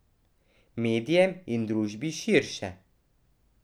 Medijem in družbi širše.